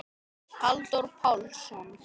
Halldór Pálsson